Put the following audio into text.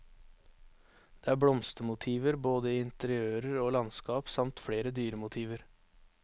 Det er blomstermotiver, både i interiører og i landskap, samt flere dyremotiver.